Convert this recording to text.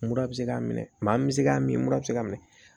Mura bɛ se k'a minɛ maa min bɛ se k'a min m mura bɛ se k'a minɛ